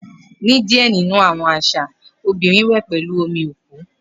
Ni diẹ ninu awọn aṣa, obinrin wẹ pẹlu omi oku.